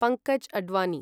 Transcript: Pankaj Advani